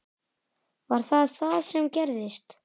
Var það það sem gerðist?